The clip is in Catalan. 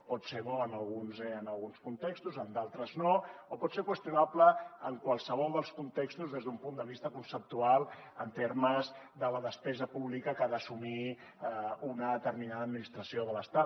pot ser bo en alguns contextos en d’altres no o pot ser qüestionable en qualsevol dels contextos des d’un punt de vista conceptual en termes de la despesa pública que ha d’assumir una determinada administració de l’estat